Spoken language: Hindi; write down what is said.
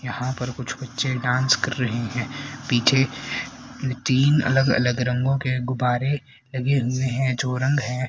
यहां पर कुछ बच्चे डांस कर रहे हैं पीछे तीन अलग अलग रंग के गुब्बारे लगे हुए हैं जो रंग है--